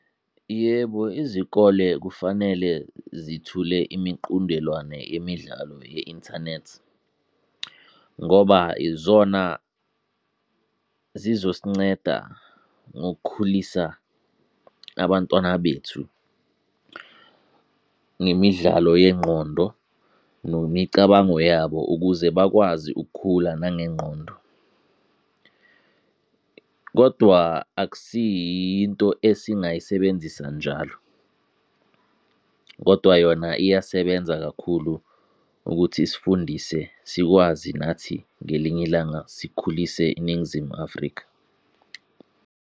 Yebo izikole kufanele zithule imiqundelwane yemidlalo ye-inthanethi. Ngoba izona zizosinceda ngokukhulisa abantwana bethu, ngemidlalo yengqondo nemicabango yabo ukuze bakwazi ukukhula nangengqondo. Kodwa akusiyiyo into esingayisebenzisa njalo, kodwa yona iyasebenza kakhulu ukuthi sifundise sikwazi nathi ngelinye ilanga sikhulise iNingizimu Afrika.